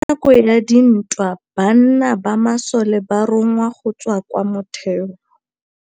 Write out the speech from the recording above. Ka nakô ya dintwa banna ba masole ba rongwa go tswa kwa mothêô.